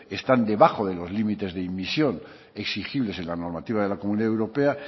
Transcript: están debajo de los límites de inmisión exigibles en la normativa de la comunidad europea